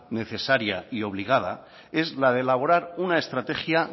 necesaria y obligada es la de elaborar una estrategia